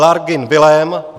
Lagrun Vilém